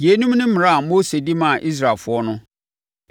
Yeinom ne mmara a Mose de maa Israelfoɔ no.